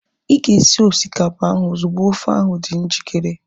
Ịga esi osikapa ahu ozugbo ofe ahu dị njikere